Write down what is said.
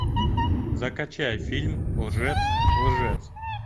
закачай фильм лжец лжец